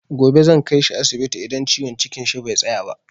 Gobe zan kaishi asibiti idan ciwon cikin shi bai tsaya ba.